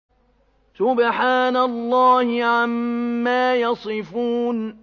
سُبْحَانَ اللَّهِ عَمَّا يَصِفُونَ